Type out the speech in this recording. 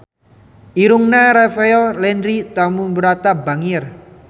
Irungna Rafael Landry Tanubrata bangir